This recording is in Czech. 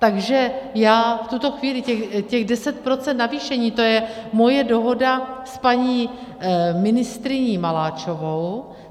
Takže já v tuto chvíli, těch 10 % navýšení, to je moje dohoda s paní ministryní Maláčovou.